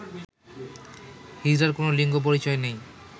হিজড়ার কোন লিঙ্গ পরিচয় নেই